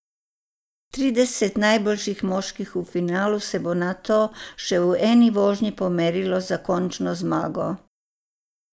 Trideset najboljših moških v finalu se bo nato še v eni vožnji pomerilo za končno zmago.